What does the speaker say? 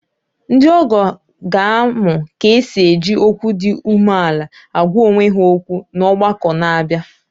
Ndị ọgọ ha ga-amụ ka e si eji okwu dị umeala agwa onwe ha okwu n’ọgbakọ na-abịa.